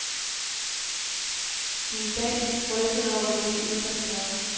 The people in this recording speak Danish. De er i dag rystede over, hvad de blev udsat for.